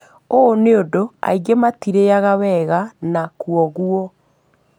ũũ niũndũ aingĩ matirĩaga wega na kwogwo